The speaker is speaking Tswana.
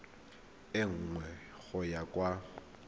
e nngwe go ya kwa